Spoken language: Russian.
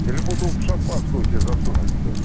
или бутылку шампанского тебе засунуть блять